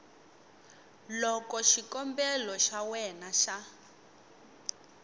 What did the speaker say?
loko xikombelo xa wena xa